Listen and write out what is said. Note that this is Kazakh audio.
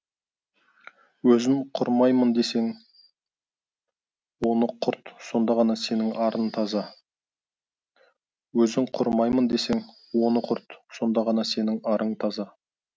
өзің құрымайын десең оны құрт сонда ғана сенің арың таза өзің құрымайын десең оны құрт сонда ғана сенің арың таза